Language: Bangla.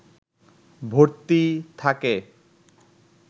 ভর্তি থাকে